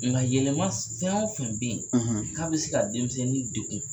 Nga yɛlɛma fɛn o fɛn be yen k'a be se ka denmisɛnnin degun